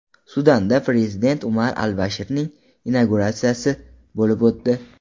Sudanda prezident Umar al-Bashirning inauguratsiyasi bo‘lib o‘tdi.